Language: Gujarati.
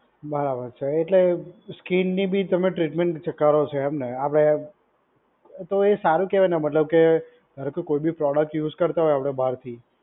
બરાબર છે. એટલે સ્કિનની બી તમે ટ્રીટમેન્ટ કરો છો એમને આપડે તો એ સારું કહેવાય ને મતલબ કે ધારો કે કોઈ બી પ્રોડક્ટ યુઝ કરતાં હોય આપડે બાહર કઈ